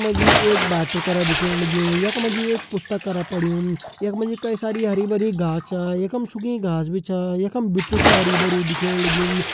यख मा जी एक बाटु करा दिखेण लग्युं यख मा जी एक पुस्ता करा पण्यु यख मा जी कई सारी हरी भरी घास छा यखम सुखी घास भी छा यखम बिट्ठू छ हरयूं भरयूं दिखेण लग्युं।